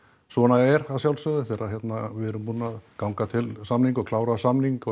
svona er að sjálfsögðu þegar að við erum búin að ganga til samninga og klára samninga